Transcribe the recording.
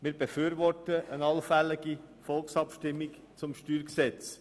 Wir befürworten eine allfällige Volksabstimmung über